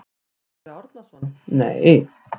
Sölvi Árnason: Nei.